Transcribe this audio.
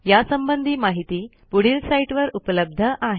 यासंबंधी माहिती पुढील साईटवर उपलब्ध आहे